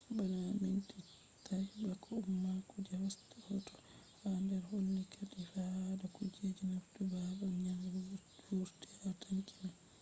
bana minti 3 bako umma kuje hosata hoto je ha der holli katifa hadata kuje nastugo babal nyebbam vurti ha tanki man